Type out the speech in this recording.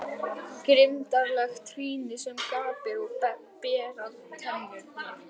Grimmdarlegt trýni sem gapir og berar tennurnar.